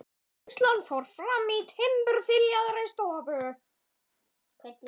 Kennslan fór fram í timburþiljaðri stofu.